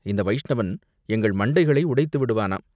இந்த வைஷ்ணவன் எங்கள் மண்டைகளை உடைத்து விடுவானாம்!